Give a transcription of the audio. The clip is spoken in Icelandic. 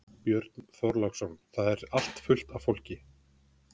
Björn Þorláksson: Það er allt fullt af fólki?